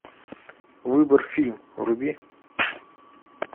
выбор фильм вруби